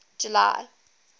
july